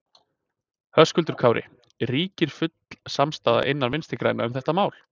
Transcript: Höskuldur Kári: Ríkir full samstaða innan Vinstri grænna um þetta mál?